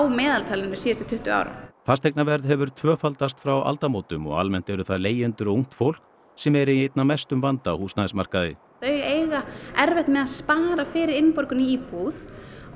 meðaltali síðustu tuttugu árin fasteignaverð hefur tvöfaldast frá aldamótum og almennt eru það leigjendur ungt fólk sem er í einna mestum vanda á húsnæðismarkaði þau eiga erfitt með að spara fyrir innborgun í íbúð